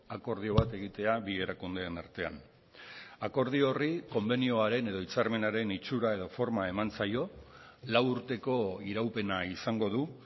akordio bat egitea bi erakundeen artean akordio horri konbenioaren edo hitzarmenaren itxura edo forma eman zaio lau urteko iraupena izango du